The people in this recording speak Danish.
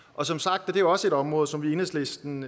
og som sagt er det også et område som vi i enhedslisten